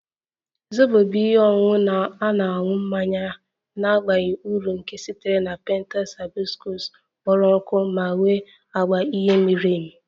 Zobo bụ ihe ọṅụṅụ na-aṅụ mmanya na-abaghị uru nke sitere na petals hibiscus kpọrọ nkụ ma nwee agba uhie miri emi